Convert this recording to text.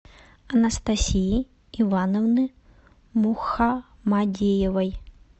анастасии ивановны мухамадеевой